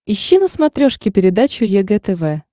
ищи на смотрешке передачу егэ тв